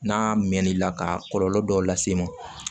N'a mɛn n'i la ka kɔlɔlɔ dɔw lase i ma